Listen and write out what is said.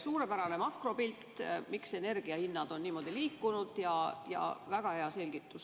Suurepärane makropilt, miks energiahinnad on niimoodi liikunud, ja väga hea selgitus.